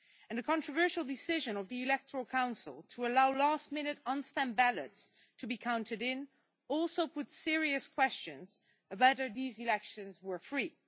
The controversial decision of the electoral council to allow last minute on stand ballots to be counted in also raised serious questions about whether these elections were free.